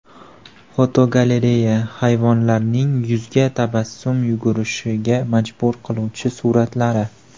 Fotogalereya: Hayvonlarning yuzga tabassum yugurishiga majbur qiluvchi suratlari.